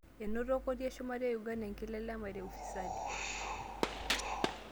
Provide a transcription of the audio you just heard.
Enoto koti eshumata e Uganda enkilelemare e ufisadi.